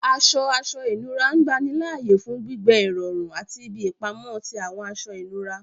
Aṣọ aṣọ inura ngbanilaaye fun gbigbẹ irọrun ati ibi ipamọ ti awọn aṣọ inura